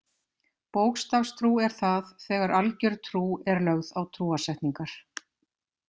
Bókstafstrú er það þegar algjör trú er lögð á trúarsetningar.